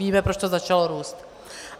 Víme, proč to začalo růst.